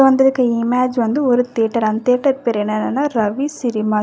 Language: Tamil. வந்துருக்க இமாஜ் வந்து ஒரு தியேட்டர் அந் தியேட்டர் பேரு என்னனனா ரவி சினிமாஸ் .